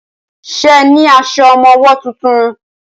Ṣe ní aṣọ ọmọwọ́ tuntun?